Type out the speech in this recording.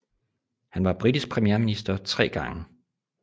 Han var britisk premierminister tre gange